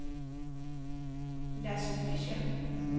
Lasse Fischer